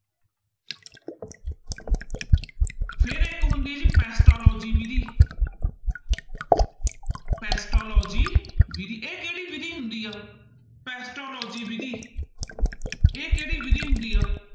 ਫਿਰ ਇੱਕ ਹੁੰਦੀ ਜੀ ਪੈਟਾਲੋਜੀ ਵਿੱਧੀ ਪੈਟਾਲੋਜੀ ਵਿੱਧੀ ਇਹ ਕਿਹੜੀ ਵਿੱਧੀ ਹੁੰਦੀ ਹੈ ਪੈਟਾਲੋਜੀ ਵਿੱਧੀ ਇਹ ਕਿਹੜੀ ਵਿੱਧੀ ਹੁੰਦੀ ਆ?